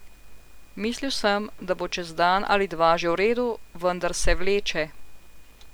Mislil sem, da bo čez dan ali dva že v redu, vendar se vleče.